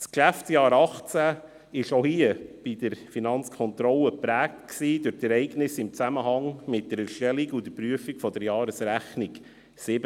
Das Geschäftsjahr 2018 war auch bei der Finanzkontrolle geprägt durch die Ereignisse in Zusammenhang mit der Erstellung und Prüfung der Jahresrechnung 2017.